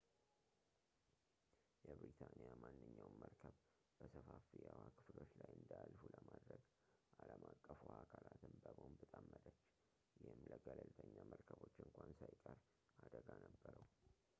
የብሪታንያ ማንኛውም መርከብ በሰፋፊ የውሃ ክፍሎች ላይ እንዳያልፉ ለማድረግ ዓለም አቀፍ ውሃ አካላትን በቦምብ ጠመደች ይህም ለገለልተኛ መርከቦች እንኳን ሳይቀር አደጋ ነበረው